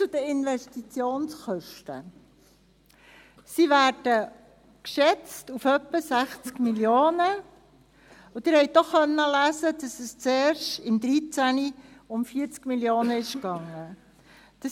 Zu den Investitionskosten: Sie werden auf etwa 60 Mio. Franken geschätzt, und Sie konnten auch lesen, dass es 2013 zuerst um 40 Mio. Franken ging.